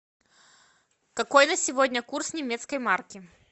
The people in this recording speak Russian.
какой на сегодня курс немецкой марки